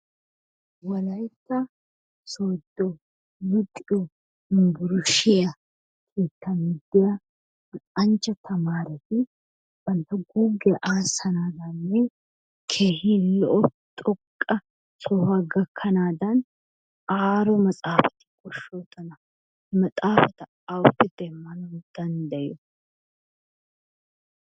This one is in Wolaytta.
Wolayitta sodo luxiyo yumburushiya keettan diya luxanchcha tamaareti bantta guuggiya aassanaagaanne keehi lo'o xoqqa sohuwa gakkanaadan aaro maxaafati koshshoosona. Maxaafata awuppe demmanawu danddayiyo?